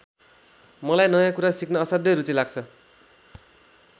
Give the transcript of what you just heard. मलाई नयाँ कुरा सिक्न असाध्यै रुचि लाग्छ।